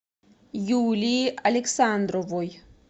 юлии александровой